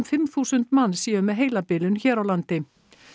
fimm þúsund manns séu með heilabilun hér á landi